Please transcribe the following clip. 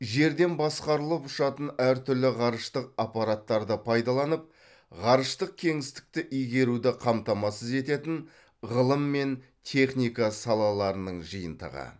жерден басқарылып ұшатын әр түрлі ғарыштық аппараттарды пайдаланып ғарыштық кеңістікті игеруді қамтамасыз ететін ғылым мен техника салаларының жиынтығы